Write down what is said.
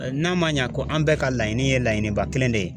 N'a man ɲa ko an bɛɛ ka laɲini ye laɲiniba kelen de ye